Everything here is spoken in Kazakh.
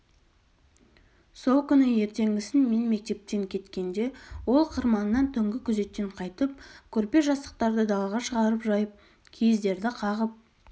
сол күні ертеңгісін мен мектепке кеткенде ол қырманнан түнгі күзеттен қайтып көрпе-жастықтарды далаға шығарып жайып киіздерді қағып